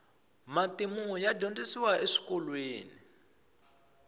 matimu ya dyondzisiwa eswikolweni